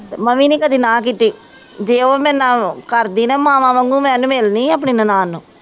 ਮੈਂ ਵੀ ਨਹੀਂ ਕਦੀ ਨਾਂਹ ਕੀਤੀ, ਜੇ ਉਹ ਮੇਰੇ ਨਾਲ ਉਹ ਕਰਦੀ ਨਾ ਮਾਵਾਂ ਵਾਂਗੂੰ ਮੈਂ ਉਹਨੂੰ ਮਿਲਣੀ ਆਪਣੀ ਨਨਾਣ ਨੂੰ